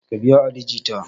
Ka biya ali jita!